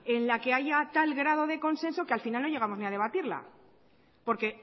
en la que haya tal grado de consenso que al final no llegamos ni a debatirla porque